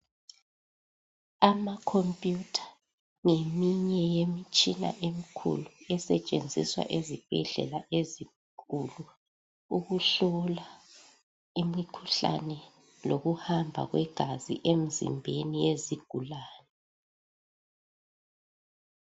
Ama computer ngeminye yemitshina emikhulu esetshenziswa ezibhedlela ezinkulu ukuhlola imikhuhlane lokuhamba kwegazi emzimbeni yezigulane.